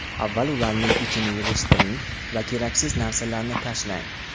Avval ularning ichini yig‘ishtiring va keraksiz narsalarni tashlang.